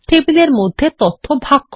টেবিলের মধ্যে তথ্য ভাগ করা